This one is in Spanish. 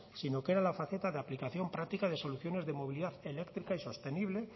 sino que era la faceta de aplicación práctica de soluciones de movilidad eléctrica y sostenible